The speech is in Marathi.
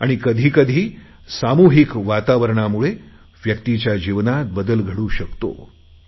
आणि कधी कधी सामूहिक वातावरणामुळे व्यक्तीच्या जीवनात बदल घडू शकतो